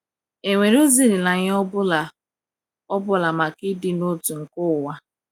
È nwere ezi olileanya ọ bụla ọ bụla maka ịdị n’otu nke ụwa?